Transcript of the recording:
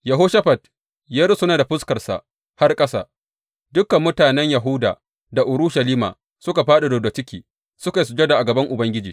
Yehoshafat ya rusuna da fuskarsa har ƙasa, dukan mutanen Yahuda da Urushalima suka fāɗi rubda ciki suka yi sujada a gaban Ubangiji.